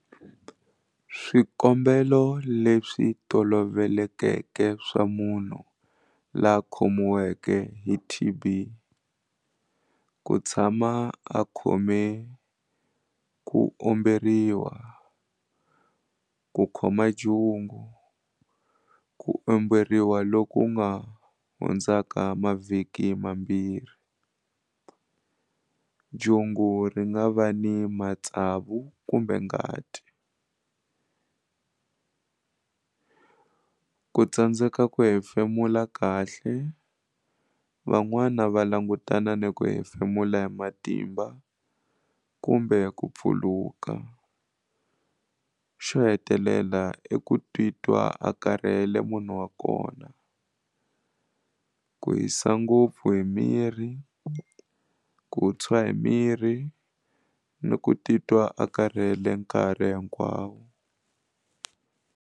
Swikombelo leswi tolovelekeke swa munhu laha a khomiweke hi T_B ku tshama a khome ku omberiwa ku khoma jungu ku omberiwa loku nga hundzaka mavhiki mambirhi jungu ri nga va ni matsavu kumbe ngati ku tsandzeka ku hefemula kahle van'wana va langutana ni ku hefemula hi matimba kumbe ku pfuluka xo hetelela i ku titwa a karhele munhu wa kona ku hisa ngopfu hi miri ku tshwa hi miri ni ku titwa a karhele nkarhi hikwawo.